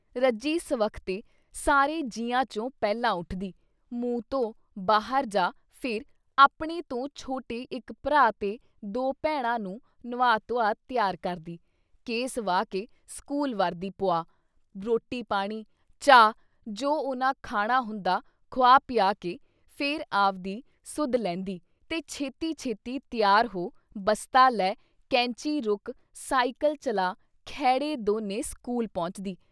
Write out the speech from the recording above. ਰੱਜੀ ਸਵਖ਼ਤੇ ਸਾਰੇ ਜੀਆਂ ਚੋਂ ਪਹਿਲਾਂ ਉੱਠਦੀ, ਮੂੰਹ ਧੋ ਬਾਹਰ ਜਾ ਫਿਰ ਆਪਣੇ ਤੋਂ ਛੋਟੇ ਇੱਕ ਭਰਾ ਤੇ ਦੋ ਭੈਣਾਂ ਨੂੰ ਨੁਵਾ ਧੁਆ ਤਿਆਰ ਕਰਦੀ, ਕੇਸ ਵਾਹ ਕੇ ਸਕੂਲ ਵਰਦੀ ਪੁਆ, ਰੋਟੀ ਪਾਣੀ, ਚਾਹ ਜੋ ਉਨ੍ਹਾਂ ਖਾਣਾ ਹੁੰਦਾ ਖੁਆ ਪਿਆ ਕੇ, ਫਿਰ ਆਵਦੀ ਸੁੱਧ ਲੈਂਦੀ ਤੇ ਛੇਤੀ ਛੇਤੀ ਤਿਆਰ ਹੋ, ਬਸਤਾ ਲੈ ਕੈਂਚੀ ਰੁਕ ਸਾਈਕਲ ਚਲਾ ਖੈੜ੍ਹੇ ਦੋਨੇ ਸਕੂਲ ਪਹੁੰਚਦੀ।